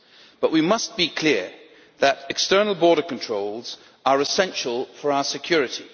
But we must be clear that external border controls are essential for our security.